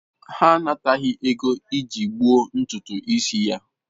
Ha anataghị ego iji gbuo ntutu isi ya.